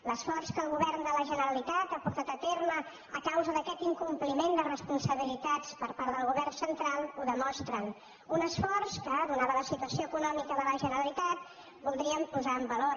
l’esforç que el govern de la generalitat ha portat a terme a causa d’aquest incompliment de respon sabilitats per part del govern central ho demostra un esforç que atesa la situació econòmica de la generalitat voldríem posar en valor